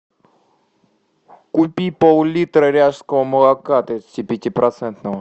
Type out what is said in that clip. купи пол литра ряжского молока тридцати пяти процентного